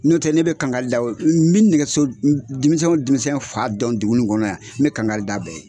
N'o tɛ ne bɛ kangari da n bɛ nɛgɛso denmisɛnw denmisɛnw fa dɔn dugu in kɔnɔ yan n bɛ kangari d'a bɛɛ ye.